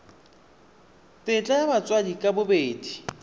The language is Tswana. tetla ya batsadi ka bobedi